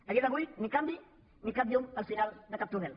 a dia d’avui ni canvi ni cap llum al final de cap túnel